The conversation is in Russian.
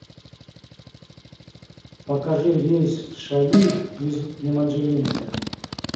покажи рейс в шали из еманжелинска